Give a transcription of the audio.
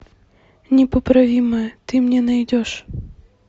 непоправимое ты мне найдешь